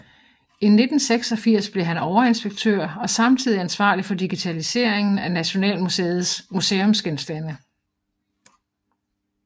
I 1986 blev han overinspektør og samtidig ansvarlig for digitaliseringen af Nationalmuseets museumsgenstande